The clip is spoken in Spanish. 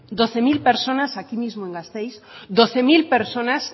doce mil personas aquí mismo en gasteiz doce mil personas